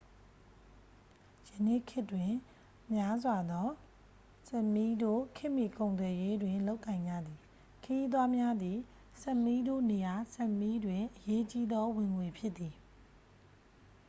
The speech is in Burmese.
ယနေ့ခေတ်တွင် များစွာ‌သော sámiတို့ ခေတ်မှီ ကုန်သွယ်ရေးတွင် လုပ်ကိုင်ကြသည်။ ခရီးသွားများသည် sámiတို့နေရာ sápmiတွင် အရေးကြီးသော ဝင်ငွေဖြစ်သည်။